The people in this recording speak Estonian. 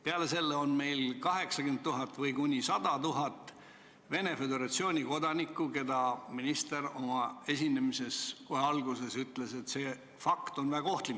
Peale selle on meil aga 80 000 või kuni 100 000 Venemaa Föderatsiooni kodanikku, kelle kohta minister kohe oma esinemise alguses ütles, et see fakt on väga ohtlik.